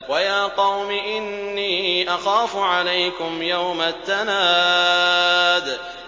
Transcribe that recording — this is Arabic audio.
وَيَا قَوْمِ إِنِّي أَخَافُ عَلَيْكُمْ يَوْمَ التَّنَادِ